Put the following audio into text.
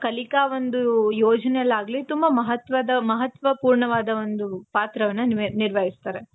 ಕಲಿಕಾ ಒಂದು ಯೋಜನೆಯಲ್ಲಿ ಆಗ್ಲಿ ತುಂಬ ಮಹತ್ವದ , ಮಹತ್ವಪೂರ್ಣವಾದ ಒಂದು ಪಾತ್ರವನ್ನ ನಿರ್ವಹಿಸ್ತಾರೆ.